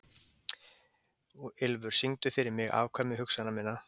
Ylfur, syngdu fyrir mig „Afkvæmi hugsana minna“.